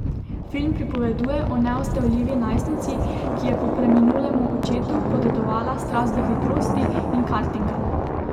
Film pripoveduje o neustavljivi najstnici, ki je po preminulemu očetu podedovala strast do hitrosti in kartinga.